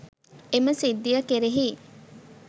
එම සිද්ධිය කෙරෙහි